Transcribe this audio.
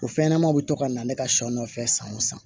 O fɛnɲɛnɛmaw bɛ to ka na ne ka sɛw nɔfɛ san o san